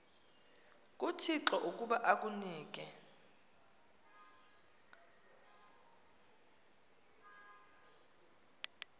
kuthixo ukuba akunike